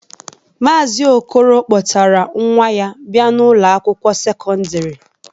Maazi Okolo kpọtara nwa ya bịa n'Ụlọ akwụkwọ sekọndrị.